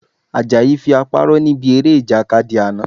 Àjàyí fi apá rọ́ níbi eré Ìjàkadì àná